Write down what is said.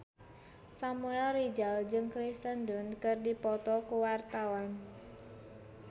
Samuel Rizal jeung Kirsten Dunst keur dipoto ku wartawan